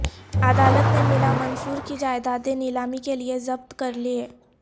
عدالت نے ملا منصور کی جائیدادیں نیلامی کیلئے ضبط کرلیں